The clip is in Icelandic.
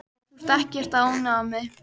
Þú ert ekkert að ónáða mig.